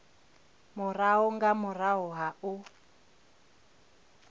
murahu nga murahu ha u